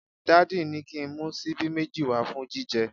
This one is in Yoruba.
Daddy ni ki n mu sibi meji wa fun jije